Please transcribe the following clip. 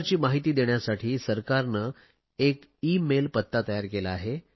अशा प्रकारची माहिती देण्यासाठी सरकारने एक ईमेल पत्ता तयार केला आहे